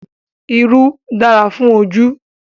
Irú dára fún ojú